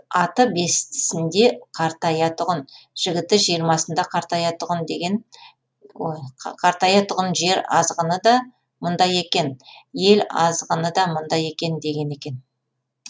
аты бестісінде қартаятұғын жігіті жиырмасында қартаятұғын жер азғыны да мұнда екен ел азғыны да мұнда екен деген екен